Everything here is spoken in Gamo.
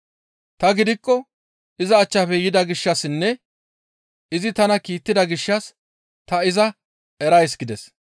Ta gidikko iza achchafe yida gishshassinne izi tana kiittida gishshas ta iza erays» gides.